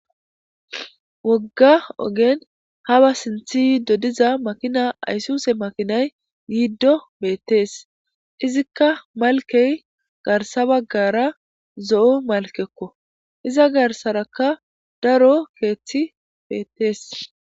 Woga oggen haba sinthi dodiza issi makina aysuse yiido beetes. Izoka malkey garsa bagara zo'o malkeko iza garsaraka daro keethi beetes.